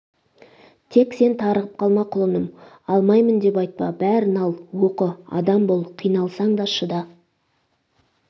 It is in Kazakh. тек сен тарығып қалма құлыным алмаймын деп айтпа бәрін ал оқы адам бол қиналсаң да шыда